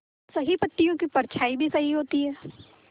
सही पत्तियों की परछाईं भी सही होती है